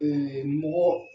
mɔgɔ